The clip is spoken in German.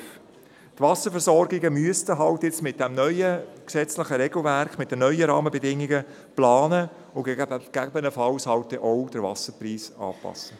Also müssten die Wasserversorgungen müssten jetzt mit diesem neuen gesetzlichen Regelwerk, mit den neuen Rahmenbedingungen, planen und den Wasserpreis gegebenenfalls anpassen.